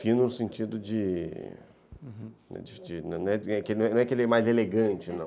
Fino no sentido de...Uhum, não é que ele é mais elegante, não.